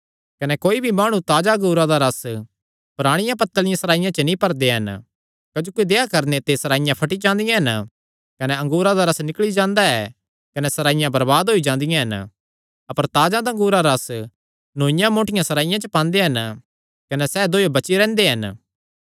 कने कोई भी माणु ताजा अंगूरा दा रस पराणियां पत्तल़ियां सराईयां च नीं भरदे हन क्जोकि देहया करणे ते सराईयां फटी जांदियां हन कने अंगूरा दा रस निकल़ी जांदा ऐ कने सराईयां बरबाद होई जादियां हन अपर ताजा अंगूरा दा रस नौईआं मोटियां सराईयां च पांदे हन कने सैह़ दोयो बची रैंह्दे हन ऐ